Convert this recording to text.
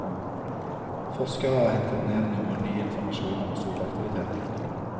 Forskere har hentet ned noe ny informasjon om solaktiviteten.